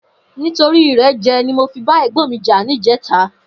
Nitóri irèjè ni mó fi bà ègbòn mi jà nijètá